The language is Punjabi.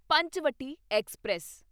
ਪੰਚਵਟੀ ਐਕਸਪ੍ਰੈਸ